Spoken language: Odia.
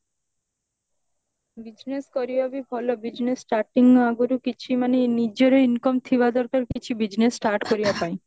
business କରିବା ବି ଭଲ business starting ଆଗରୁ କିଛି ମାନେ ନିଜର income ଥିବା ଦରକାର କିଛି business start କରିବା ପାଇଁ